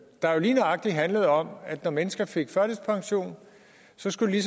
der jo lige nøjagtig handlede om at når mennesker fik førtidspension skulle de